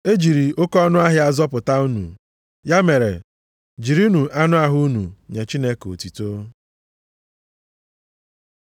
E jiri oke ọnụahịa zọpụta unu. Ya mere jirinụ anụ ahụ unu nye Chineke otuto.